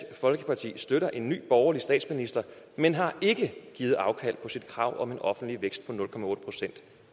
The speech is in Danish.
folkeparti støtter en ny borgerlig statsminister men har ikke givet afkald på sit krav om en offentlig vækst